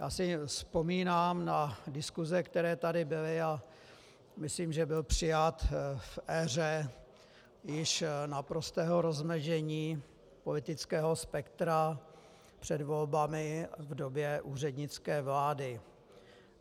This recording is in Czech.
Já si vzpomínám na diskuse, které tady byly, a myslím, že byl přijat v éře již naprostého rozložení politického spektra před volbami v době úřednické vlády.